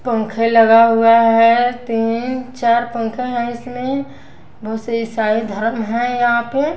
पंखे लगा हुआ है तीन चार पंखे हैं इसमें बहुत से ईसाई धर्म है यहाँ पे --